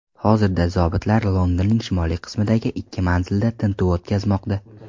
Hozirda zobitlar Londonning shimoliy qismidagi ikki manzilda tintuv o‘tkazmoqda.